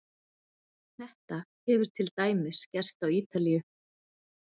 Þetta hefur til dæmis gerst á Ítalíu.